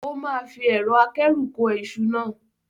O máa fi ẹ̀rọ akẹ́rù kó iṣu náà.